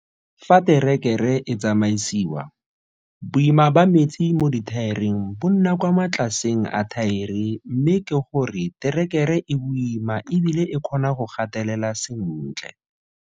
Fa terekere e tsamaisiwa, boima ba metsi mo dithaereng bo nna kwa matlaseng a thaere mme ke go re terekere e boima e bile e kgona go gatelela sentle.